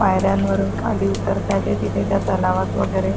पायऱ्यांवरून खाली उतरतातेत तिथे त्या तलावात वगैरे.